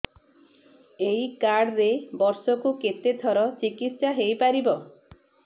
ଏଇ କାର୍ଡ ରେ ବର୍ଷକୁ କେତେ ଥର ଚିକିତ୍ସା ହେଇପାରିବ